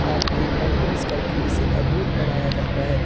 काट के पेंटिंग्स करके इसे अद्भुत बनाया जाता है।